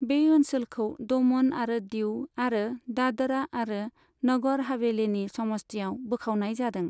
बे ओनसोलखौ दमन आरो दीउ आरो दादरा आरो नगर हवेलीनि समस्तियाव बोखावनाय जादों।